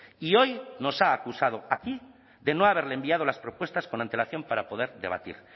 y hoy nos ha acusado aquí de no haberle enviado las propuestas con antelación para poder debatir